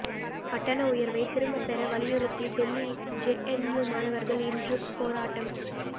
கட்டண உயர்வை திரும்ப பெற வலியுறுத்தி டெல்லி ஜேஎன்யூ மாணவர்கள் இன்றும் போராட்டம்